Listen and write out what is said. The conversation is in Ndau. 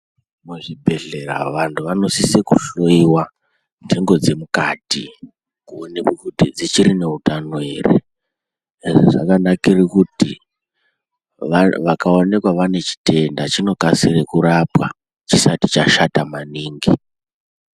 Muzvibhehleya vantu vanosisa kuhloyiwa nhengo dzemukati kuoneke kuti dzichiri neutano here zvakanakire kuti vakaoneka vane chitenda vanokasire kurapwa chisati chashata.